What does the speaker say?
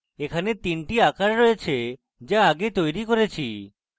এখানে তিনটি আকার রয়েছে যা আগে তৈরী করেছি